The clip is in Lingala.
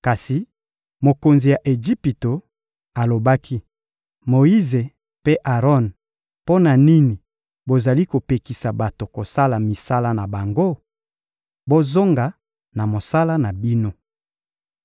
Kasi mokonzi ya Ejipito alobaki: — Moyize mpe Aron, mpo na nini bozali kopekisa bato kosala misala na bango? Bozonga na mosala na bino!